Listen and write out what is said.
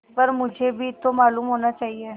पर मुझे भी तो मालूम होना चाहिए